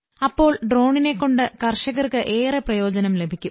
അപ്പോൾ ഡ്രോണിനെ കൊണ്ട് കർഷകർക്ക് ഏറെ പ്രയോജനം ലഭിക്കും